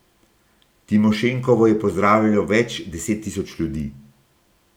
Timošenkovo je pozdravilo več deset tisoč ljudi.